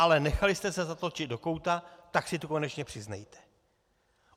Ale nechali jste se zatlačit do kouta, tak si to konečně přiznejte.